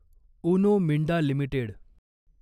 Uno Minda limited